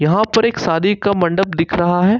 यहा पर एक शादी का मंडप दिख रहा है।